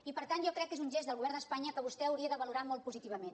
i per tant jo crec que és un gest del govern d’espanya que vostè hauria de valorar molt positivament